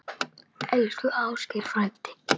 Elsku Ásgeir frændi.